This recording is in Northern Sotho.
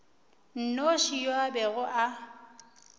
nnoši yo a bego a